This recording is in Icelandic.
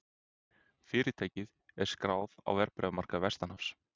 Fyrirtækið er skráð á verðbréfamarkaði vestanhafs